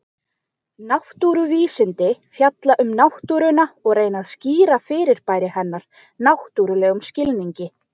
Náttúruvísindi fjalla um náttúruna og reyna að skýra fyrirbæri hennar náttúrlegum skilningi.